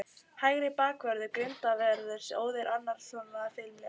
Hægri bakvörður Grindavíkurliðsins, Óðinn Árnason, varðist þeim þó fimlega.